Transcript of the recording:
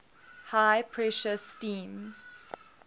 high pressure steam